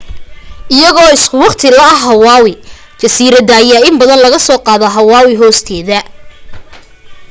iyagoo isu waqti la ah hawaii jasiiradaha ayaa in badan lagasoo qaadaa hawaii hoosteeda